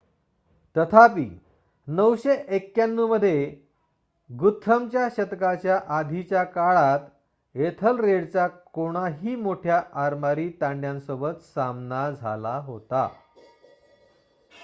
तथापि 991 मध्ये गुथ्रमच्या शतकाच्या आधीच्या काळात एथलरेडचा कोणाहीपेक्षा मोठ्या आरमारी तांड्यासोबत सामना झाला होता